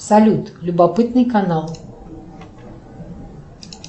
салют любопытный канал